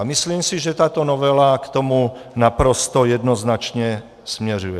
A myslím si, že tato novela k tomu naprosto jednoznačně směřuje.